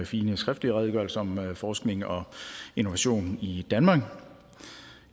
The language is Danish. fine skriftlige redegørelse om forskning og innovation i danmark